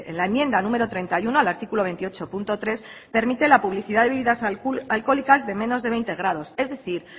la enmienda número treinta y uno al artículo veintiocho punto tres permite la publicidad de bebidas alcohólicas de menos de veinte grados es decir